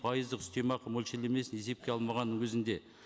пайыздық үстемақы мөлшерлемесін есепке алмағанның өзінде